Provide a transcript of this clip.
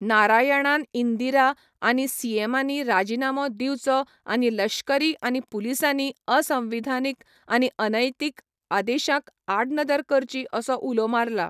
नारायणान इंदिरा आनी सीएमांनी राजिनामो दिवचो आनी लश्करी आनी पुलिसांनी असंविधानीक आनी अनैतिक आदेशांक आडनदर करची असो उलो मारला.